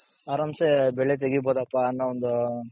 ಆರಾಂಸೆ ಬೆಳೆ ತೆಗೀ ಬಹುದಪ್ಪ ಅನ್ನೋ ಒಂದು,